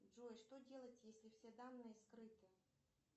джой что делать если все данные скрыты